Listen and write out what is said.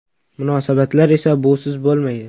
Munosabatlar esa busiz bo‘lmaydi.